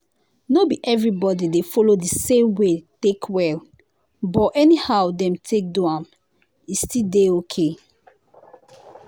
no be everybody dey follow the same way take well — but anyhow dem take do am e still dey okay.